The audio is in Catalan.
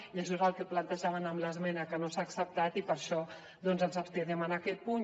i això és el que plantejàvem en l’esmena que no s’ha acceptat i per això ens abstindrem en aquest punt